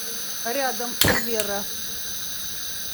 рядом верра